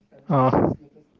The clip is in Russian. а